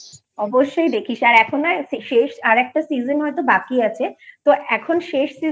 অবশ্যই দেখিস আর এখন হয়তো আরেকটা season হয়তো বাকি আছে তো এখন শেষ season এ